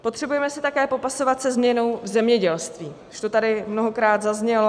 Potřebujeme se také popasovat se změnou v zemědělství, už to tady mnohokrát zaznělo.